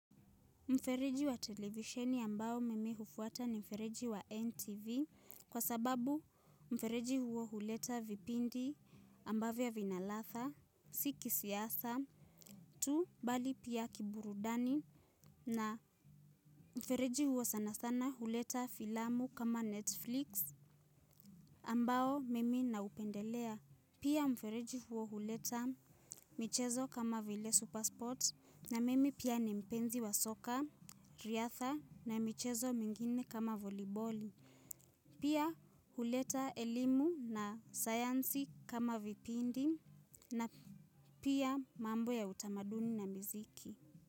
Mfereji wa televisheni ambao mimi hufuata ni mfereji wa NTV, kwa sababu mfereji huo huleta vipindi ambavyo vina ladha, si kisiasa tu, bali pia kiburudani na mfereji huo sana sana huleta filamu kama Netflix, ambao mimi naupendelea. Pia mfereji huo huleta michezo kama vile Supersport, na mimi pia ni mpenzi wa soka, riadha na michezo mingine kama voliboli. Pia huleta elimu na sayansi kama vipindi, na pia mambo ya utamaduni na miziki.